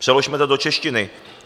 Přeložme to do češtiny.